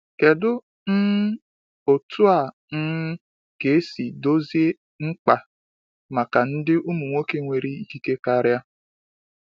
Kedu um otu a um ga esi dozi mkpa maka ndị ụmụ nwoke nwere ikike karịa?